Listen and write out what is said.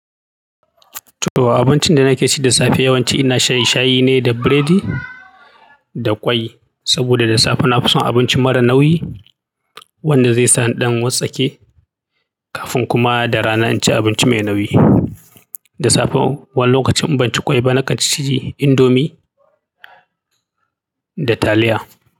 To abincin da nake ci da safe yawanci ina shan shayi ne da biredi da ƙwai. Saboda da safe na fi son abinci mara nauyi wanda zai sa in ɗan wassake kafin kuma da rana in ci abinci mai nauyi. Da safe wani lokacin in ban ci ƙwai ba, nakan ci indomi da taliya.